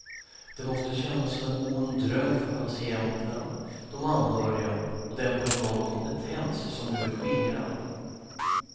Det måste kännas som en ond dröm för patienterna, de anhöriga och den personal och kompetens som nu är skingrad.